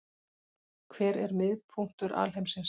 Hver er miðpunktur alheimsins?